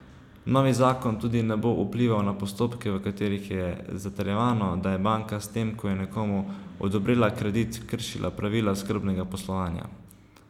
Novi zakon tudi ne bo vplival na postopke, v katerih je zatrjevano, da je banka s tem, ko je nekomu odobrila kredit, kršila pravila skrbnega poslovanja.